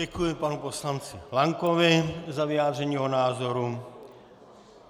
Děkuji panu poslanci Lankovi za vyjádření jeho názoru.